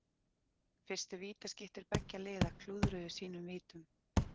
Fyrstu vítaskyttur beggja liða klúðruðu sínum vítum.